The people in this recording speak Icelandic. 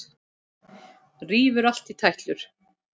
Rífur allt í tætlur.